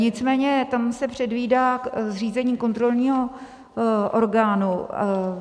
Nicméně tam se předvídá zřízení kontrolního orgánu.